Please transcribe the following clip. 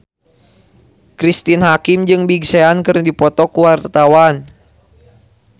Cristine Hakim jeung Big Sean keur dipoto ku wartawan